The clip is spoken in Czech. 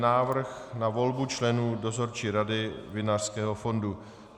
Návrh na volbu členů Dozorčí rady Vinařského fondu